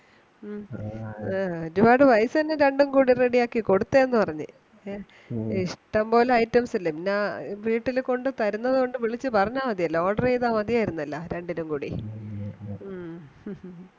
ആ ആ ഇഷ്ടം പോലെ items ഇല്ലേ എന്നാ വീട്ടിൽ കൊണ്ട് തരുന്നതുകൊണ്ടു വിളിച്ചു പറഞ്ഞാൽ മതിലോ order ചെയ്‌താൽ മതിയായിരുന്നാലോ രണ്ടിനുംകൂടി മ മ